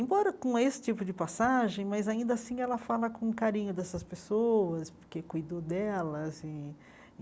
Embora com esse tipo de passagem, mas ainda assim ela fala com carinho dessas pessoas, porque cuidou delas e.